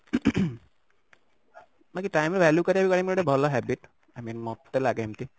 time ର value କରିବାଟା ଗୋଟେ ଭଲ habit i mean ମତେ ଲାଗେ ଏମିତି